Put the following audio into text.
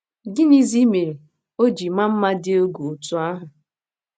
Gịnịzi mere o ji maa mma dị egwu otú ahụ?